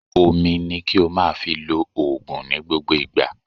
omí ní kí o máà fí ló òògùn ní gbógbó ìgbà.